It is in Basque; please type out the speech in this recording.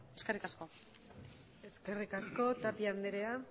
eskerrik asko eskerrik asko tapia andrea